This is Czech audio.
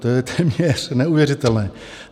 To je téměř neuvěřitelné.